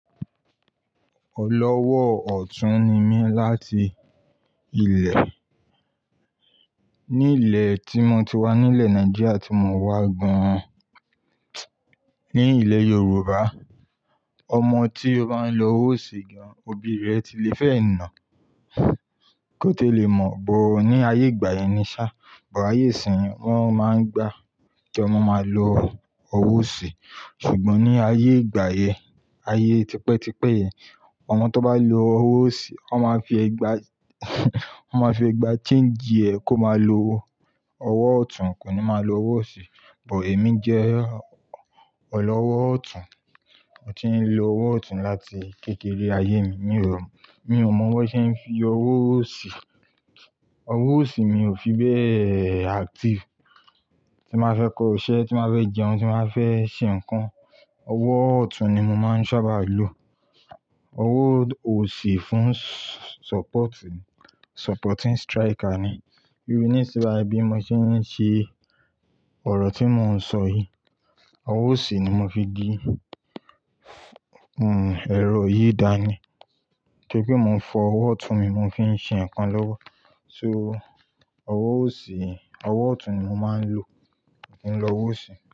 Ọlọ́wọ́ ọ̀tún ni mí láti ilẹ̀. Ní ilẹ̀ tí mo ti wá nílẹ̀ Nàìjíríà tí mo wá gan an ní ilẹ̀ Yorùbá, ọmọ tí ó bá ń lo owó òsì, òbí rẹ̀ ti lè fẹ́ é ná. Kó tó lè mọ̀, bọ̀ ní ayé ìgbà yẹn ni sá, bọ̀ ayé ìsín wọ́n máa ń gba kí ọmọ máa lò owó òsì. Ṣùgbọ́n ní ayé ìgbà yẹn, ayé tipẹ́tipẹ́ yẹn, ọmọ tó bá lo owó òsì, wọ́n máa fi ẹ̀gbà, wọ́n máa fi ẹ̀gbà change ẹ kó máa lo owó ọ̀tún, kò ní máa lo owó òsì. Bọ̀ èmi jẹ́ ọlọ́wọ́ ọ̀tún. Mo ti ń lo owó ọ̀tún láti kékeré ayé mi. Mi ò mọ̀ bi wón ṣe ń fi owó òsì. Owó òsì mi ò fi bẹ́ẹ̀ active. Tí n bá fẹ́ kọ iṣẹ́, tí n bá fẹ́ jẹun, tí n bá fẹ́ ṣe nǹkan, owó ọ̀tún ni mo máa ń sábà lo. Owó òsì fún s-support, supporting striker ni. Bí i ní sí bàyí mo ti ń ṣe ọ̀rọ̀ tí mò ń sọ yìí, owó òsì ni mo fi gbé, ẹ̀rọ yìí dání. Nítorí pe mo ń fi owó ọ̀tún mi mo fi ń ṣe nǹkan lọ́wọ́. So owó òsì, owó ọ̀tún ni mo máa ń lò, mí o n lo owó òsì.